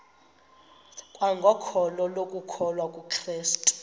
kwangokholo lokukholwa kukrestu